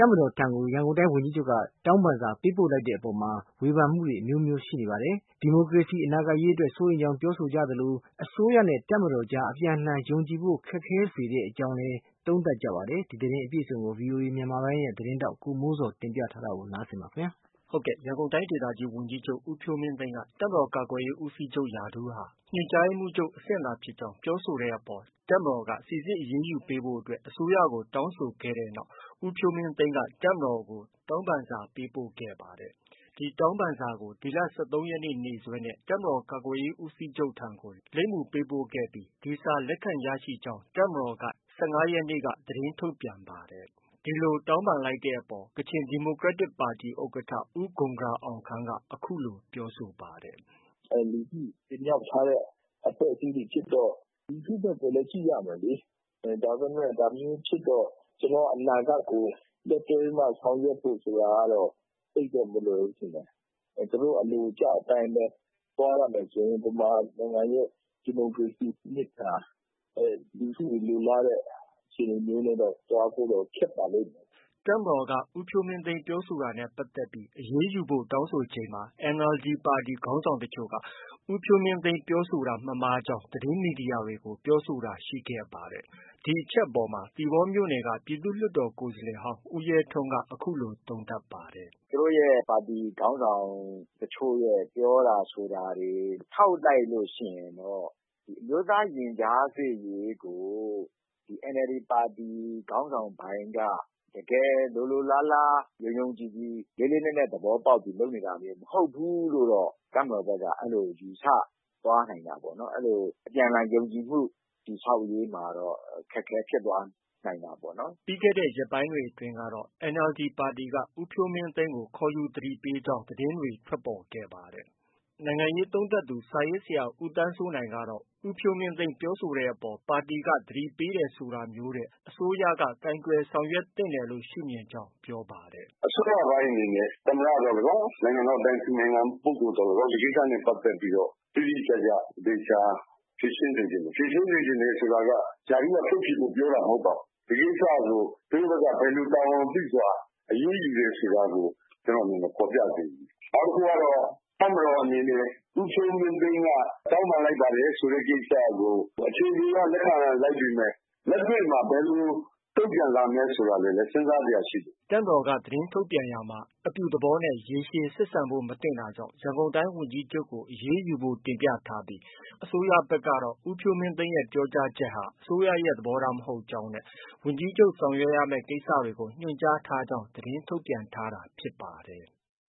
ပ်မတော်ကို ရန်ကုန်တိုင်းဝန်ကြီးချုပ်က တောင်းပန်စာပေးပို့လိုက်တဲ့အပေါ်ဝေဖန်မှုတွေ အမျိုးမျိုးရှိနေပါတယ်။ဒီမိုကရေစီ အနာဂတ်ရေးအတွက် စိုးရိမ်ကြောင်း ပြောဆိုကြသလို အစိုးရနဲ့ တပ်မတော်အကြား အပြန်အလှန်ယုံကြည်ဖို့ ခက်ခဲစေနိုင်ကြောင်း သုံးသပ်ကြပါတယ်။ ဒီသတင်းအပြည့်အစုံကို ဗွီအိုအေမြန်မာပိုင်းရဲ့သတင်းထောက် ကိုမိုးဇော်က တင်ပြထားပါတယ်။ ရန်ကုန်တိုင်းဝန်ကြီးချုပ် ဦးဖြိုးမင်းသိန်းက တပ်မတော်ကာကွယ်ရေးဦးစီးချုပ်ရာထူးဟာ ညွှန်ကြားမှုးချုပ်အဆင့်သာဖြစ်ကြောင်း ပြောတဲ့အပေါ် တပ်မတော်က စိစစ်အရေးယူပေးဖို့ အစိုးရကို တောင်းဆိုခဲ့တဲ့နောက် ဦးဖြိုးမင်းသိန်းက တပ်မတော်ကို တောင်းပန်စာ ပေးပု့ိခဲ့တာဖြစ်ပါတယ်။ တောင်းပန်စာကို ဒီလ ၁၃ရက်နေ့ နေ့စွဲနဲ့ တပ်မတော်ကာကွယ်ရေးဦးစီးချုပ်ကို လိပ်မူပေးပို့တာကို လက်ခံရရှိကြောင်း တပ်မတော်က ၁၅ရက်နေ့က သတင်းထုတ်ပြန်ထားတာဖြစ်ပါတယ်။ ဒီလိုတောင်းပန်လိုက်တဲ့အပေါ် ကချင်ဒီမိုကရက်တစ်ပါတီ ဥက္ကဌ ဦးဂွမ်ဂရာအောင်ခမ်းက အခုလို ပြောဆိုပါတယ်။ “လူထုတင်မြှောက်ထားတဲ့အဖွဲ့အစည်းတွေဖြစ်တော့ လူထုဖက်ကိုလည်း ကြည့်ရမယ်လေ။ ဒါပေမဲ့ ဒါမျိုးဖြစ်တော့ ကျနော်တို့ အနာဂတ်ကို လက်တွဲပြီးမှ ဆောင်ရွက်ဖို့ ဆိုတာကတော့ သိပ်တော့ မလွယ်ဘူးထင်တယ်။ သူတို့ အလိုကျအတိုင်းသွားရမယ်ဆိုရင် မြန်မာနိုင်ငံရဲ့ ဒီမိုကရေစီစနစ်က လူထုလိုလားတဲ့ အခြေအနေမျိုးနဲ့တော့ သွားဖို့တော့ ခက်ပါလိမ့်မယ်။” တပ်မတော်က ဦးဖြိုးမင်းသိန်း ပြောတာဆိုတာနဲ့ပတ်သက်ပြီး အရေးယူဖို့ တောင်းဆိုချိန်မှာNLD ပါတီခေါင်းဆောင်တချို့က ဦးဖြိုးမင်းသိန်းပြောဆိုတာမမှားကြောင်း သတင်းမီဒီယာတွေကို ပြောခဲ့ပါတယ်။ ဒီအချက်အပေါ်မှာ သီပေါမြို့နယ်က ပြည်သူ့လွှတ်တော်ကိုယ်စားလှယ်ဟောင်း ဦးရဲထွန်းကတော့ အခုလိုသုံးသပ်ပါတယ်။ “သူတို့ပါတီခေါင်းဆောင်တချို့ရဲ့ ပြောတာဆိုတာတွေ ထောက်လိုက်လို့ ရှိရင်တော့ အမျိုးသားရင်ကြားစေ့ရေးကို NLD ပါတီခေါင်းဆောင်ပိုင်းက တကယ်လိုလိုလားလား၊ နှစ်နှစ်ကာကာ၊ ယုံယုံကြည်ကြည် လုပ်နေတာမျိုး၊ လေးလေးနက်နက်သဘောပေါက်ပြီး လုပ်နေတာမျိုး မဟုတ်ဘူးလို့တော့ တပ်မတော်ဖက်က အဲလိုမျိုးယူဆ သွားနိုင်တာပေါ့နော်။ အပြန်အလှန်ယုံကြည်မှု တည်ဆောက်ရေးမှာတော့ အခက်အခဲဖြစ်သွားနိုင်တာပေါ့။” ပြီးခဲ့တဲ့ ရက်တွေကတော့ ဦးဖြိုးမင်းသိန်းကို NLD ပါတီက ခေါ်ယူသတိပေးကြောင်းလည်း သတင်းတွေ ထွက်ပေါ်ခဲ့ပါတယ်။ နိုင်ငံရေးသုံးသပ်သူ စာရေးဆရာ ဦးသန်းစိုးနိုင်ကတော့ ဦးဖြိုးမင်းသိန်းပြောဆိုတဲ့အပေါ် ပါတီက သတိပေးတယ်ဆိုတာမျိုးထက် အစိုးရက ကိုင်တွယ်ဆောင်ရွက်သင့်တယ်လို့ ရှုမြင်ကြောင်း ပြောပါတယ်။ “ ဒီကိစ္စနဲ့ပတ်သက်လို့ အစိုးရပိုင်းအနေနဲ့သမ္မတသော်လည်းကောင်း၊ နိုင်ငံတော်အတိုင်ပင်ခံပုဂ္ဂိုလ်သော်လည်းကောင်း ဒီကိစ္စနဲ့ပတ်သက်ပြီးတော့ တိတိကျကျ သေချာဖြေရှင်းစေချင်တယ်။ ဖြေရှင်းစေချင်တယ်ဆိုတာ ရာထူးက ဖြုတ်ပစ်ဖို့ ပြောတာမဟုတ်ပါဘူး။ ဒီကိစ္စကို သူတို့ဖက်က ဘယ်လိုတာဝန်သိစွာ အရေးယူတယ်ဆိုတာကို ကျနော့်အနေနဲ့ ဖော်ပြစေချင်တယ်။ နောက်တခုကတော့ တပ်မတော်အနေနဲ့ ဦးဖြိုးမင်းသိန်းက တောင်းပန်လိုက်ပါတယ်ဆိုတဲ့ ကိစ္စကို အခြေအနေအရ လက်ခံလိုက်ပေမဲ့ လက်တွေ့မှာ ဘယ်လို တုံ့ပြန်လာမလဲ ဆိုတာလည်း စဉ်းစားစရာရှိတယ်။” တပ်မတော်က သတင်းထုတ်ပြန်ရာမှာ အပြုသဘောနဲ့ ရေရှည်ဆက်ဆံဖို့ မသင့်တာကြောင့် ရန်ကုန်တိုင်းဝန်ကြီးချုပ်ကို အရေးယူဖို့ တင်ပြထားပြီး အစိုးရဖက်ကတော့ ဦးဖြိုးမင်းသိန်းရဲ့ ပြောကြားချက်ဟာ အစိုးရသဘောထားမဟုတ်ကြောင်းနဲ့ ဝန်ကြီးချုပ်ဆောင်ရွက်ရမယ့် ကိစ္စရပ်တွေကို ညွှန်ကြားထားကြောင်း သတင်းထုတ်ပြန်ထားတာဖြစ်ပါတယ်။